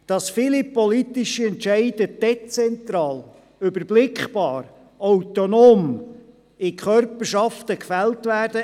Es ist ein Erfolgsmodell, dass viele politische Entscheide dezentral, überblickbar und autonom in Körperschaften gefällt werden.